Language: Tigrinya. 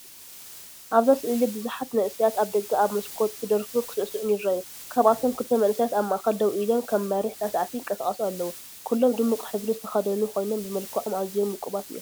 ኣብዛ ስእሊ ብዙሓት መንእሰያት ኣብ ደገ ኣብ መስኮት ክደርፉን ክሳዕስዑን ይረኣዩ። ካብኣቶም ክልተ መንእሰያት ኣብ ማእከል ደው ኢሎም ከም መሪሕ ሳዕሳዕቲ ይንቀሳቐሱ ኣለዉ። ኩሎም ድሙቕ ሕብሪ ዝተኸድኑ ኮይኖም ብመልክዖም ኣዝዮም ውቁባት እዮም።